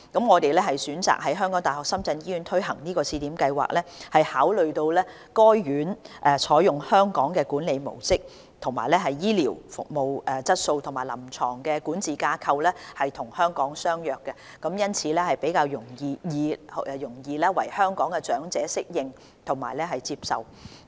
我們選擇在港大深圳醫院推行試點計劃，是考慮到該院採用"香港管理模式"，醫療服務質素及臨床管治架構與香港相若，因此較易為香港長者適應和接受。